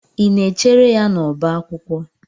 Ị na-echere ya n'ọbá akwụkwọ.